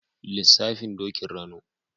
Lissafin Dokin Rano.